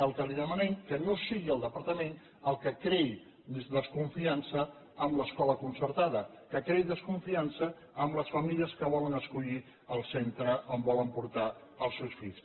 el que li demanem que no sigui el departament el que creï desconfiança en l’escola concertada que creï desconfiança en les famílies que volen escollir el centre on volen portar els seus fills